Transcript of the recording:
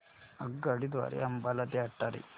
आगगाडी द्वारे अंबाला ते अटारी